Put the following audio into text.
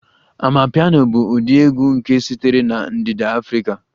Amapiano bụ ụdị egwu nke sitere na ndịda Afrika